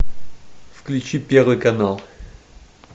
включи первый канал